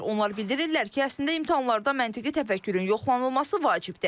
Onlar bildirirlər ki, əslində imtahanlarda məntiqi təfəkkürün yoxlanılması vacibdir.